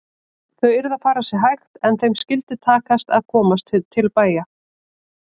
Þau yrðu að fara sér hægt en þeim skyldi takast að komast til bæja!